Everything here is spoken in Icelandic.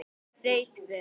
Þau tvö.